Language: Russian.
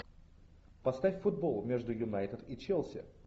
поставь футбол между юнайтед и челси